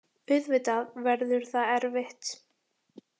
Auðvitað verður það erfitt.